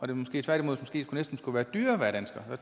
det måske tværtimod måske næsten skulle være dyrere at være dansker